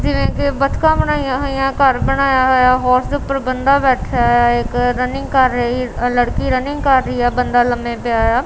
ਜਿਵੇਂ ਕੇ ਬੱਤਖਾਂ ਬਨਾਇਆਂ ਹੋਈਆਂ ਘੱਰ ਬਣਾਯਾ ਹੋਇਆ ਹੋਰਸ ਦੇ ਊਪਰ ਬੰਦਾ ਬੈਠਾ ਹੋਇਆ ਇੱਕ ਰੰਨਿੰਗ ਕਰ ਰਹੀ ਲੜਕੀ ਰੰਨਿੰਗ ਕਰ ਰਹੀ ਹੈ ਬੰਦਾ ਲੰਬੇ ਪਿਆ ਯਾ।